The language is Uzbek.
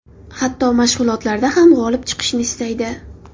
Hatto mashg‘ulotlarda ham g‘olib chiqishni istaydi.